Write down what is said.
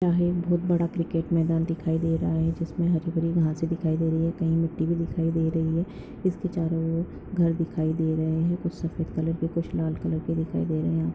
यहा एक बहुत बडा क्रिकेट मैदान दिखाई दे रहा है जिसने हरी भरी घासे दिखाई दे रही है कही मिट्टी बी दिखाई दे रही है जिसके चारो और घर दिखाये दे रहे है कुछ सफेद कलर के कुछ लाल कलर के दिखाई दे रहे हैं।